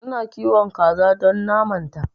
Ina kiwon kaza don naman ta